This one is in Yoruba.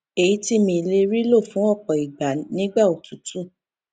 èyí ti mi le ri lo fún òpò ìgbà nígbà òtútù